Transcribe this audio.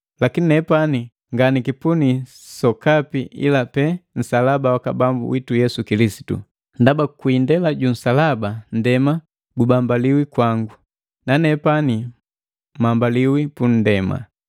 Lakini nepani nganakipuni sokapi ila pee nsalaba waka Bambu witu Yesu Kilisitu, ndaba kwi indela ju nsalaba nndema gubambaliwi kwangu, nanepani mambaliwi pu nndema.